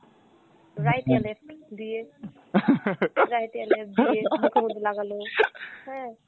right না left দিয়ে, right ইয়া left দিয়ে মুখের ওপরে লাগালো হ্যাঁ।